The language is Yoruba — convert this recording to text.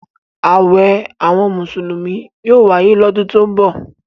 Àwẹ̀ àwọn Mùsùlùmí yóò wáyé lọ́dún tó ń bọ̀.